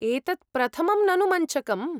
एतत् प्रथमं ननु मञ्चकम्।